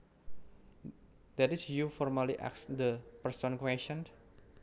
That is you formally ask the person questions